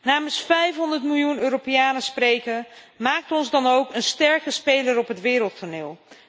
Namens 500 miljoen Europeanen spreken, maakt ons dan ook een sterke speler op het wereldtoneel.